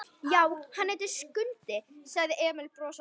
Já, og hann heitir Skundi, sagði Emil brosandi.